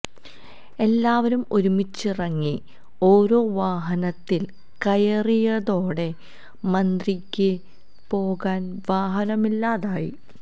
എല്ലാവരും ഒരുമിച്ചിറങ്ങി ഓരോ വാഹനത്തില് കയറിയതോടെ മന്ത്രിക്ക് പോകാന് വാഹനമില്ലാതായി